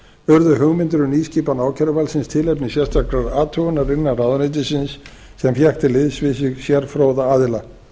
urðu hugmyndir um nýskipan ákæruvaldsins tilefni sérstakrar athugunar innan ráðuneytisins sem fékk til liðs við sig sérfróða aðila